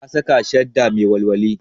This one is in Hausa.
Ta saka shadda mai walwali